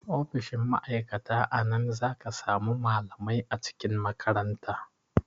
Ofishin ma'aikata a nan zaka samu malamai a cikin makaranta